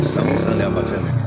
San waati